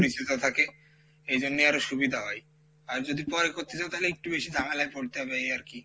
পরিচিত থাকে এই জন্য আরো সুবিধা হয় আর যদি পরে করতে চাও তালি একটু বেশি ঝামেলায় পড়তে হবে এই আরকি,